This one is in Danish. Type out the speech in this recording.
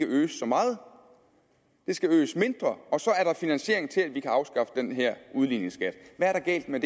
øges så meget det skal øges mindre og så er der finansiering til at vi kan afskaffe den her udligningsskat hvad er der galt med